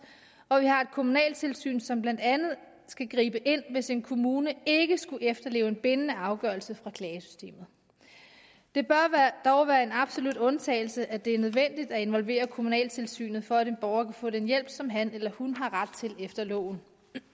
og vi har et kommunaltilsyn som blandt andet skal gribe ind hvis en kommune ikke skulle efterleve en bindende afgørelse fra klagesystemet det bør dog være en absolut undtagelse at det er nødvendigt at involvere kommunaltilsynet for at en borger kan få den hjælp som han eller hun har ret til efter loven